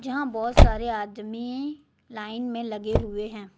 यहां बहुत सारे आदमी लाइन में लगे हुए हैं।